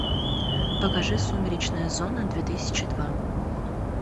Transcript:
покажи сумеречная зона две тысячи два